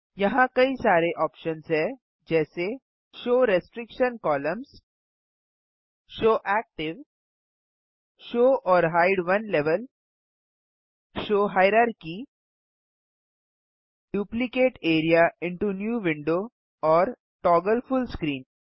यहाँ कई सारे ऑप्शन्स हैं जैसे show restriction columns show active show or hide one level show hierarchy duplicate area into new window और टॉगल फुल स्क्रीन